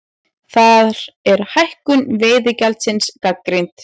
Þar er hækkun veiðigjaldsins gagnrýnd